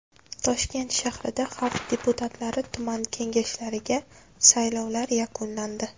Toshkent shahrida xalq deputatlari tuman kengashlariga saylovlar yakunlandi.